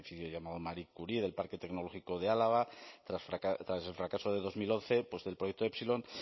llamado marie curie del parque tecnológico de álava tras el fracaso de dos mil once del proyecto epsilon